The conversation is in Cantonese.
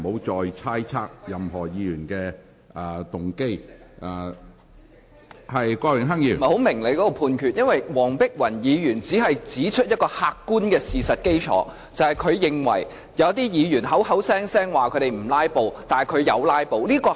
主席，我不明白你的裁決，黃碧雲議員只是指出客觀事實，即她認為有些議員聲稱不"拉布"，但事實上卻有"拉布"。